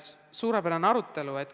Suurepärane arutelu!